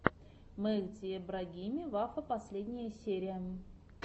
мехди эбрагими вафа последняя серия